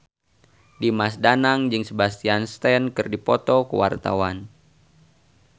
Dimas Danang jeung Sebastian Stan keur dipoto ku wartawan